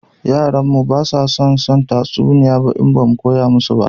Yaran mu ba za su san tatsuniyoyi ba in ba mu koya musu ba